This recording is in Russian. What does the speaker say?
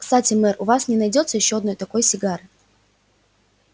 кстати мэр у вас не найдётся ещё одной такой сигары